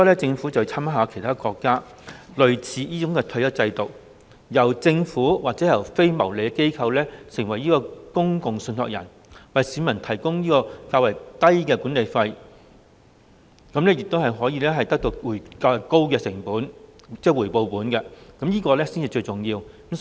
政府應該參考其他國家類似的退休金制度，由政府或非牟利機構擔任公共信託人，為市民提供較低廉的管理費，讓他們因而能獲得到較高的回報，這才是最重要的。